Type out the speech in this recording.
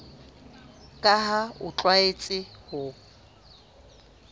ka ha o tlwaetse ho